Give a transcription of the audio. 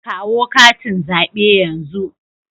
Kawo katin zabe yanzu.